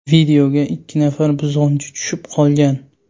Videoga ikki nafar buzg‘unchi tushiib qolgan.